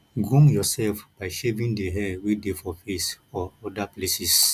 groom yourself by shaving di hair wey dey for face or oda places